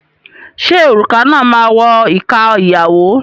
Ṣé òrùka náà máa wọ ìka ìyàwó?